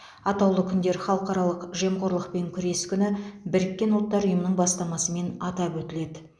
атаулы күндер халықаралық жемқорлықпен күрес күні біріккен ұлттар ұйымының бастамасымен атап өтіледі